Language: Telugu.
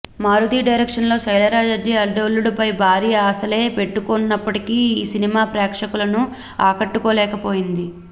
మారుతీ డైరెక్షన్లో శైలజ రెడ్డి అల్లుడు ఫై భారీ ఆశలే పెట్టుకున్నప్పటికీ ఈ సినిమా ప్రేక్షకులను ఆకట్టుకోలేకపోయింది